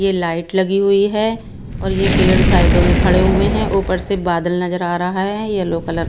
ये लाइट लगी हुई है और ये पेड़ साइडों में खड़े हुए हैं ऊपर से बादल नजर आ रहा है येलो कलर --